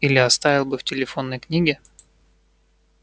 или оставил бы в телефонной книге